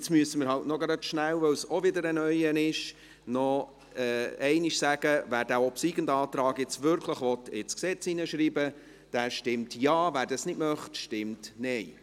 Weil es ebenfalls wieder ein neuer ist, müssen wir halt gerade nochmals rasch sagen: Wer diesen obsiegenden Antrag nun wirklich ins Gesetz hineinschreiben will, stimmt Ja, wer dies nicht möchte, stimmt Nein.